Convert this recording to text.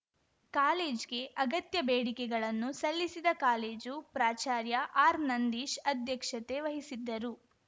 ಕಾಲೇಜ್‌ಗೆ ಅಗತ್ಯ ಬೇಡಿಕೆಗಳನ್ನು ಸಲ್ಲಿಸಿದ ಕಾಲೇಜು ಪ್ರಾಚಾರ್ಯ ಆರ್‌ನಂದೀಶ್‌ ಅಧ್ಯಕ್ಷತೆ ವಹಿಸಿದ್ದರು